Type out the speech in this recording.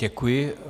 Děkuji.